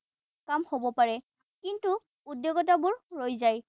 কাম হব পাৰে। কিন্তু উদ্বেগতাবোৰ ৰৈ যায়।